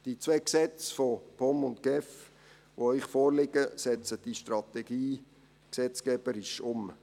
Die beiden Gesetze von POM und GEF, die Ihnen vorliegen, setzen diese Strategie gesetzgeberisch um.